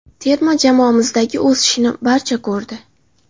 Terma jamoamizdagi o‘sishni barcha ko‘rdi.